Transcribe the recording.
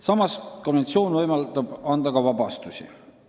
Samas võimaldab konventsioon anda vabastusi.